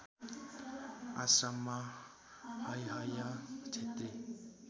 आश्रममा हैहय क्षेत्री